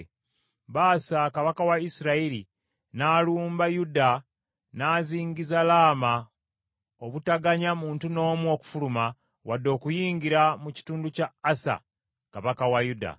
Baasa kabaka wa Isirayiri n’alumba Yuda n’azingiza Laama obutaganya muntu n’omu okufuluma wadde okuyingira mu kitundu kya Asa kabaka wa Yuda.